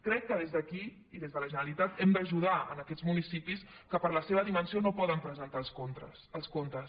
crec que des d’aquí i des de la generalitat hem d’ajudar aquests municipis que per la seva dimensió no poden presentar els comptes